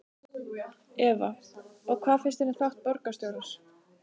Eva: Og hvað finnst þér um þátt borgarstjórans?